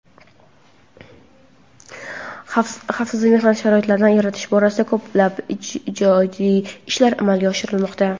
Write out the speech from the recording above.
xavfsiz mehnat sharoitlarini yaratish borasida ko‘plab ijobiy ishlar amalga oshirilmoqda.